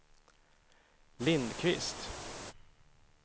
Lindquist